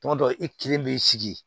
Tuma dɔ la i kelen b'i sigi